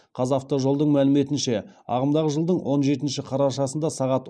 қазавтожолдың мәліметінше ағымдағы жылдың он жетінші қарашасында сағат